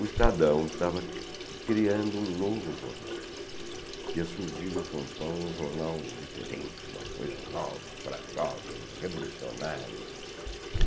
O Estadão estava criando um novo jornal, que ia surgir em São Paulo, um jornal diferente, uma coisa nova, para jovens, revolucionário.